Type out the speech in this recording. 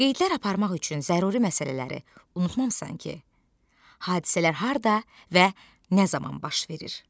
Qeydlər aparmaq üçün zəruri məsələləri unutmamısan ki, hadisələr harda və nə zaman baş verir?